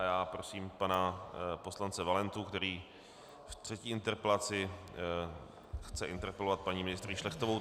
A já prosím pana poslance Valentu, který v třetí interpelaci chce interpelovat paní ministryní Šlechtovou.